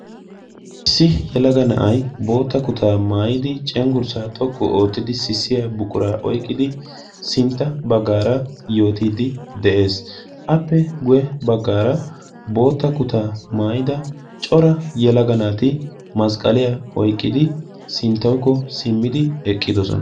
Issi yelaga na'ay bootta kutaa maayidi cengurssaa xoqqu oottidi sissiyaa buquraa oyqqidi sintta baggaara yoottidi de'ees. appe guye baggaara bootta kutaa maayida cora yelaga naati masqqaliyaa oyqqidi sinttawukko simmidi eqqidosona.